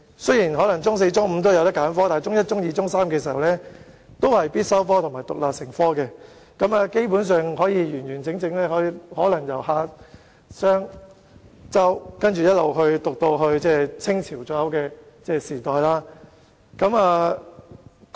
雖然中四、中五可以選科，但在中一至中三，中史是必修科而且獨立成科，學生基本上能完整地學習由夏商周至清代左右的歷史。